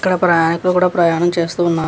ఇక్కడ కూడా ఇక్కడ కూడా ప్రయాణం చేస్తూ ఉన్నా --